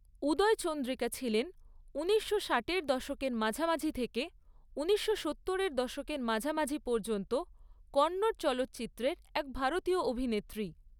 উদয় চন্দ্রিকা ছিলেন উনিশশো ষাটের দশকের মাঝামাঝি থেকে উনিশশো সত্তরের দশকের মাঝামাঝি পর্যন্ত কন্নড় চলচ্চিত্রের এক ভারতীয় অভিনেত্রী।